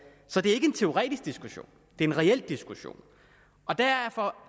så det er ikke en teoretisk diskussion det er en reel diskussion derfor